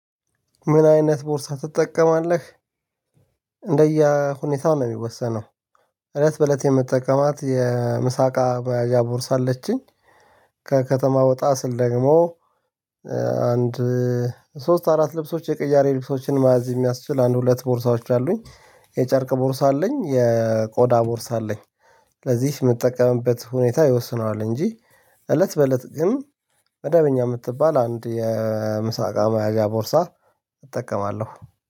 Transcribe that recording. ምን አይነት ቦርሳ ትጠቀማለህ? እንደየሁኔታው ነው የሚወሰነው እለት በእለት የምጠቀማት የምሳ እቃ ማያዣ ቦርሳ አለችኝ። ከከተማ ወጣ ስል ደግሞ። አንድ ሶስት አራት ልብሶች የቅያሪ ልብሶችን ማያዝ የሚያስችል አንድ ሁለት ቦርሳዎች አሉኝ የጨርቅ ቦርሳ አለኝ የቆዳ ቦርሳ አለኝ። ለዚህ የምጠቀምበት ሁኔታ ይወስነዋል እንጂ እለት በእለት ግን መዳበኛ የምትባል አንድ የምሳ እቃ ማያዣ ቦርሳ። እጠቀማለሁ